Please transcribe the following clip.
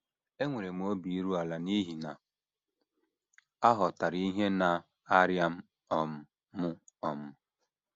Enwere m obi iru ala n’ihi na ọ ghọtara ihe na - arịa um m um. ”